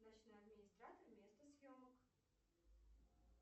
ночной администратор место съемок